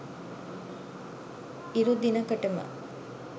ඉරු දිනකටම